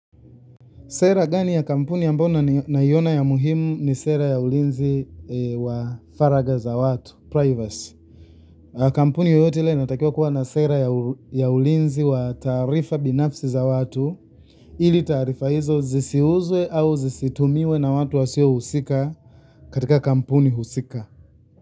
Sera gani ya kampuni ambayo naiona ya muhimu ni sera ya ulinzi wa faraga za watu, privacy. Kampuni yoyote ile ina takiwa kuwa na sera ya ulinzi wa taarifa binafsi za watu, ili taarifa hizo zisiuzwe au zisitumiwe na watu wasio usika katika kampuni usika.